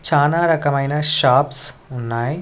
చానా రకమైన షాప్స్ ఉన్నాయ్.